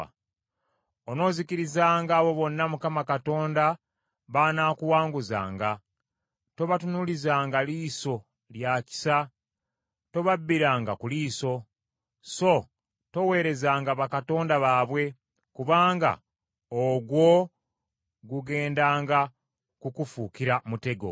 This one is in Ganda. Onoozikirizanga abo bonna Mukama Katonda b’anaakuwanguzanga, tobatunuulizanga liiso lya kisa, tobabbiranga ku liiso. So toweerezanga bakatonda baabwe, kubanga ogwo gugendanga kukufuukira mutego.